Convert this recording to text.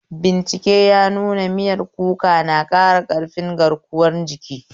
Bincike ya nuna miyar kuka na ƙara ƙarfin garkuwan jiki.